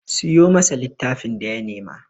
Siyo masa littafin da ya nema!